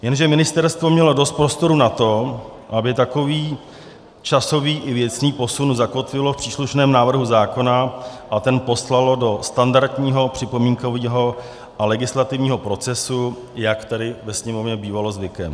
Jenže ministerstvo mělo dost prostoru na to, aby takový časový i věcný posun zakotvilo v příslušném návrhu zákona a ten poslalo do standardního připomínkového a legislativního procesu, jak tady ve Sněmovně bývalo zvykem.